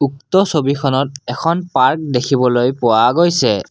উক্ত ছবিখনত এখন পাৰ্ক দেখিবলৈ পোৱা গৈছে।